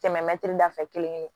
Tɛmɛ mɛtiri da fɛ kelen kelen